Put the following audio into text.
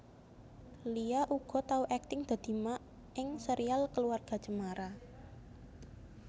Lia uga tau akting dadi Mak ing Serial Keluarga Cemara